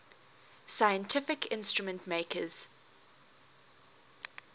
scientific instrument makers